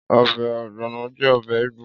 Ọbẹ̀ ògbònò jẹ́ ọbẹ̀ Ígbò